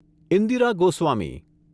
Indira Goswami